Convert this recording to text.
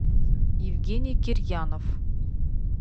евгений кирьянов